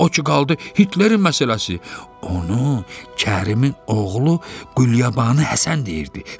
O ki qaldı Hitlerin məsələsi, onu Kərimin oğlu Qulyabanı Həsən deyirdi.